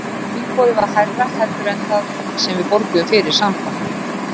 Tilboðið var hærra heldur en það sem við borguðum fyrir Samba.